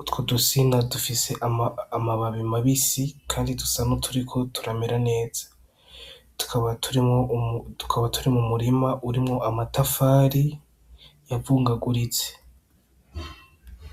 utwo dusina dufise amababi mabisi kandi dusa nuturiko turamera neza. Tukaba turi mwo umu , tukaba turi mu murima urimwo amatafari yavungaguritse.